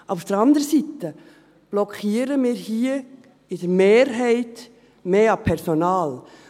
Aber auf der anderen Seite blockieren wir hier in der Mehrheit mehr an Personal.